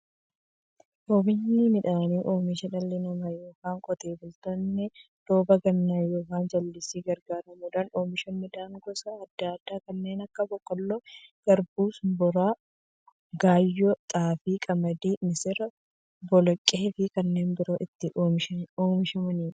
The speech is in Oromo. Oomishni midhaanii, oomisha dhalli namaa yookiin Qotee bultoonni roba gannaa yookiin jallisiitti gargaaramuun oomisha midhaan gosa adda addaa kanneen akka; boqqoolloo, garbuu, shumburaa, gaayyoo, xaafii, qamadii, misira, boloqqeefi kanneen biroo itti oomishamiidha.